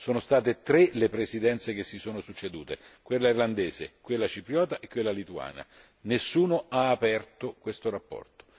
Sono state tre le Presidenze che si sono succedute, quella irlandese, quella cipriota e quella lituana nessuno ha aperto questa relazione.